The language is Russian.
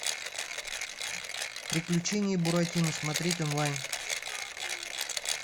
приключения буратино смотреть онлайн